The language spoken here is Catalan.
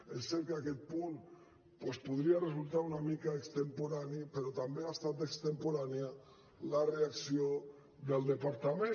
és cert que aquest punt doncs podria resultar una mica extemporani però també ha estat extemporània la reacció del departament